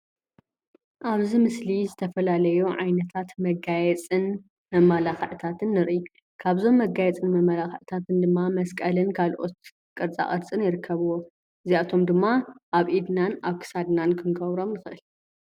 ኣብ ዚ ምሰሊ ዝተፋላለዩ ዓይነታት መጋየፂነ መማላክዒታትነ ኒርእ ፡፡ ካብዞሞ መጋየፂታትነ መማላክዒትኒ ድማ መስቀል ካሎኦትኒ ቅርፃ ቅርፂን ይርከብዎሞ። እዚ ኣቶሞ ድማ ኣብ ኢድና ኣብ ክሳድና ክንገብሮሞ ንኸእል፡፡